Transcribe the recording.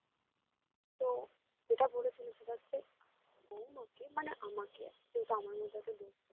তো যেটা বলেছিলো সেটা হচ্ছে বৌমাকে মানে আমাকে যেহেতু আমার মধ্যে একটা দোষ আছে